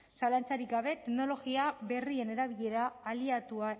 zalantzarik gabe teknologia berrien erabilera aliatua